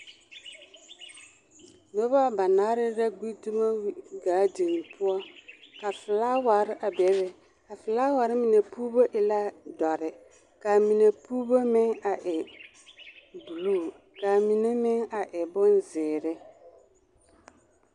Noba banaare la gbi dumo gaadin poɔ ka felaaware a bebe, a felaaware mine puuro mine e la dɔre k'a mine puuro meŋ a e buluu k'a mine meŋ a e bonzeere.